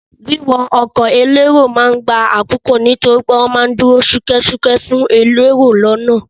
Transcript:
Wíwọ ọkọ̀ elérò ma ń gba àkókò nítorí wọ́n ma ń dúró ṣúkẹ́ṣúkẹ́ fún èrò lọ́nà.